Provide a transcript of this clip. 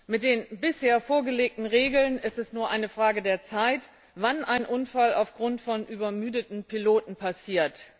Mit den bisher vorgelegten Regeln ist es nur eine Frage der Zeit, wann ein Unfall aufgrund von übermüdeten Piloten passiert.